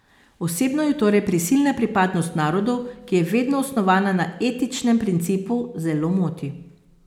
Osebno jo torej prisilna pripadnost narodu, ki je vedno osnovana na etičnem principu, zelo moti.